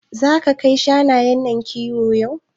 Zaka kai shanayen nan kiwo yau?